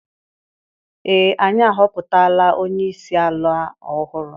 Ee anyị ahọpụtala onye isi ala ọhụrụ.